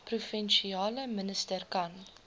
provinsiale minister kan